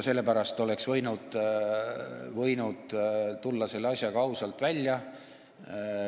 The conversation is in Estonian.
Sellepärast oleks võinud tulla selle asjaga ausalt välja.